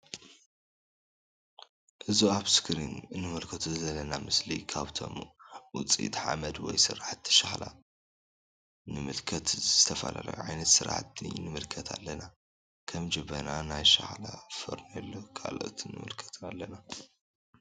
እዙ አብ እስክሪን እንምልከቶ ዘለና ምስሊ ካብቶም ውፅኢት ሓመድ ወይ ስራሕቲ ሸክላ ንምልከት ዝተፈላለዩ ዓይነት ስራሕቲ ንምልከት አለና ::ከም ጀበና ናይ ሸክላ ፎርሚሎ ካልኦትን ንምልከት አለና::